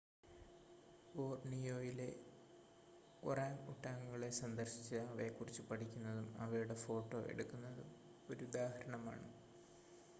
ബോർണിയോയിലെ ഒറാങ്ങ് ഉട്ടാങ്ങുകളെ സന്ദർശിച്ച് അവയെക്കുറിച്ച് പഠിക്കുന്നതും അവയുടെ ഫോട്ടോ എടുക്കുന്നതും ഒരുദാഹരണമാണ്